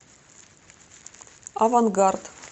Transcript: авангард